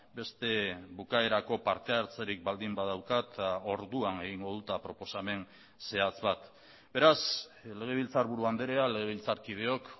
beste bukaerako parte hartzerik baldin badaukat orduan egingo dut proposamen zehatz bat beraz legebiltzarburu andrea legebiltzarkideok